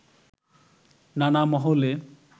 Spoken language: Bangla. নানা মহলে